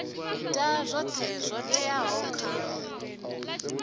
ita zwoṱhe zwo teaho kha